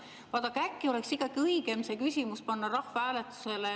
Vaadake, äkki oleks ikkagi õigem panna see küsimus rahvahääletusele?